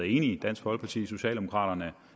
i dansk folkeparti socialdemokraterne